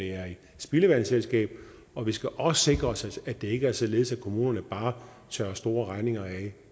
spildevandsselskab og vi skal også sikre os at det ikke er således at kommunerne bare tørrer store regninger af